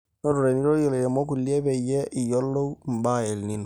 notore nirorie lairemok kulie peyie iyiolou mbaa eEl nino